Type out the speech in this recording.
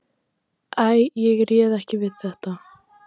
Æ, ég réð ekki við þetta.